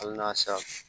Hali n'a sa